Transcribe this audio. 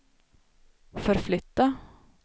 förflytta